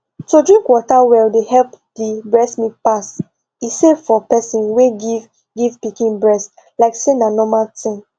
to drink water well dey help the breast milk pass e safe for person wey give give pikin breast like say na normal thing